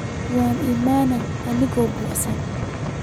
Waan iimane anako buqsan.